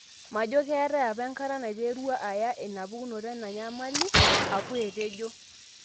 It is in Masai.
'Majo ketae apa enkata naiterua aya inapukunoto ana enyamali,''Apu etejo.